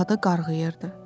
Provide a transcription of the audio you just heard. Fərhada qarğıyırdı.